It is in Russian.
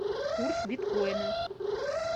курс биткоина